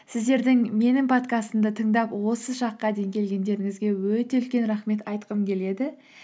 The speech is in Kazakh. сіздердің менің подкастымды тыңдап осы шаққа дейін келгендеріңізге өте үлкен рахмет айтқым келеді